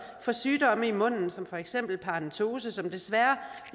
for sygdomme i munden som for eksempel paradentose som desværre